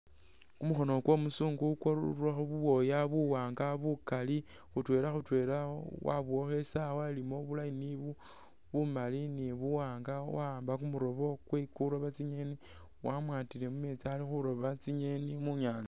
Kumukhono kwo muzungu kwarurakho bubwoya buwanga bukali khutwela khutwela wabowakho isawa ilimo bu line bumali ni buwanga waamba kumurobo kwe kuroba tsi nyeni wamwatile mumeetsi ali khutoba tsi nyeni munyatsa .